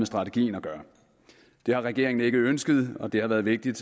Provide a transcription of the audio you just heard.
strategien at gøre det har regeringen ikke ønsket og det har været vigtigt